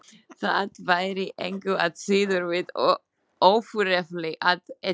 Það væri engu að síður við ofurefli að etja.